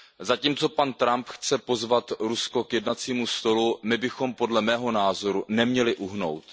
Zatímco pan Trump chce pozvat Rusko k jednacímu stolu, my bychom podle mého názoru neměli uhnout.